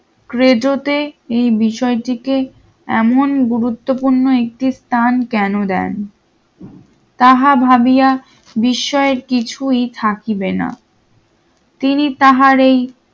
রেডিওতে এই বিষয়টিকে এমন গুরুত্বপূর্ণ একটি স্থান কেন দেন তাহা ভাবিয়া বিষয়ের কিছুই থাকিবে না তিনি তাহারেই